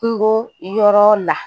Kungo yɔrɔ la